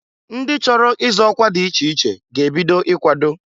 Ndị chọrọ ịzọ ọkwa dị iche iche ga-ebido ikwado.